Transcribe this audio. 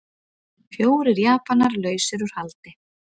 Fjórir Japanar lausir út haldi